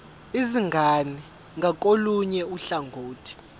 izingane ngakolunye uhlangothi